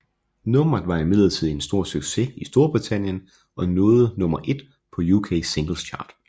Nummeret var imidlertid en stor succes i Storbritannien og nåede nummer 1 på UK Singles Chart